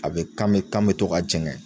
A bɛ kan me kan mɛ to ka jɛngɛ